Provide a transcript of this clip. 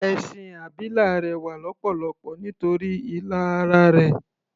Ẹṣin abilà rẹwà lọ́pọ̀lọpọ̀ nítorí ilà ara rẹ̀.